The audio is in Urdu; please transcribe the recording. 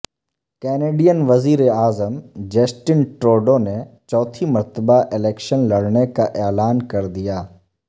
کینیڈین وزیر اعظم جسٹن ٹروڈو نے چوتھی مرتبہ الیکشن لڑنے کا اعلان کردیا